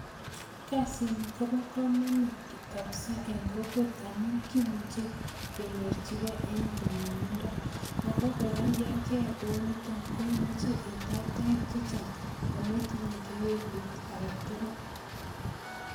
Kazini kobo kamanut kabisa eng kokwet amun kimuche kenyorchikei en nyumnyumindo, ako kora ko ya keyai kouniton imuche itach toek chechang ametinye kewelut ake tugul.